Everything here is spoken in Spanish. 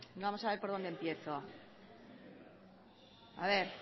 vamos a ver por dónde empiezo a ver